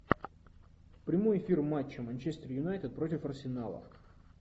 прямой эфир матча манчестер юнайтед против арсенала